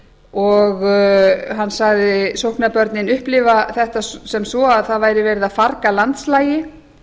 og hann sagði sóknarbörnin upplifa þetta sem svo að það væri verið að farga landslagi